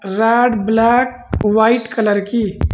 red black white colour की--